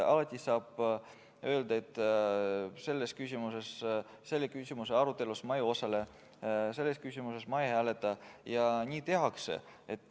Alati saab öelda, et selle küsimuse arutelus ma ei osale, selles küsimuses ma ei hääleta, ja nii tehaksegi.